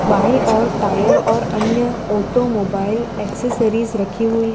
बायीं ओर टायर और अन्य ऑटोमोबाइल एसेसरीज रखी हुई --